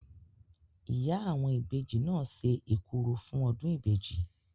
Ìyá àwọn ìbejì náà se ekuru fún ọdún ìbejì.